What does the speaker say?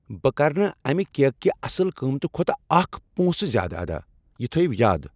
بہٕ کرٕ نہٕ امہ کیک کہ اصل قۭمتہٕ کھوتہٕ اکھ پونٛسہٕ زیادٕ ادا۔ یہ تھٲیِو یاد!